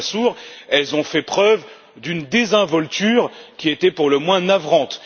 Lamassoure, elles ont fait preuve d'une désinvolture qui était pour le moins navrante.